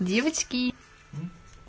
девочки